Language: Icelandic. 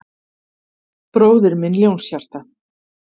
Bróðir minn Ljónshjarta